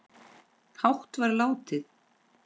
hátt var látið